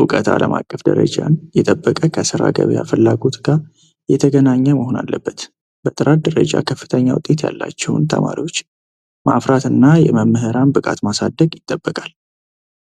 እውቀት ዓለም አቀፍ ደረጃን የጠበቀ ከስራ ገበያ ፍላጎት ጋር የተገናኘ መሆን አለበት በጥራት ደረጃ ከፍተኛ ውጤት ያላቸውን ተማሪዎች ማእፍራትእና የመምህራን ብቃት ማሳደግ ይጠበቃል